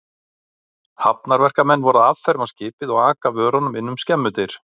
Hafnarverkamenn voru að afferma skipið og aka vörunum inn um skemmudyr.